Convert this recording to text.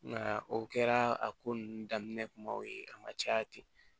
Nka o kɛra a ko ninnu daminɛ kumaw ye a ma caya ten